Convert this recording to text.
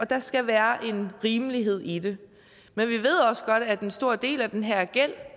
der skal være en rimelighed i det men vi ved også godt at en stor del af den her gæld